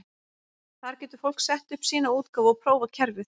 Þar getur fólk sett upp sína útgáfu og prófað kerfið.